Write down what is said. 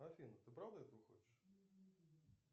афина ты правда этого хочешь